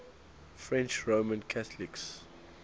french roman catholics